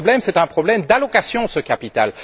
Le problème est un problème d'allocation de ce capital.